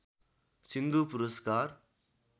सिन्धु पुरस्कार